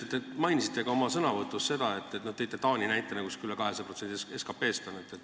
Te mainisite oma sõnavõtus näitena Taanit, kus pensionifondi varade maht on üle 200% SKP-st.